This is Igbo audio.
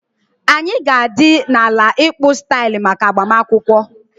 Anyị ga-adị na ala ịkpụ style maka agbamakwụkwọ